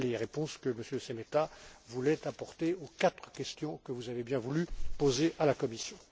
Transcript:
Voilà les réponses que M. Šemeta voulait apporter aux quatre questions que vous avez bien voulu poser à la Commission.